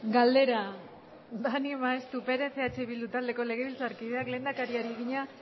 galdera daniel maeztu perez eh bildu taldeko legebiltzarkideak lehendakariari egina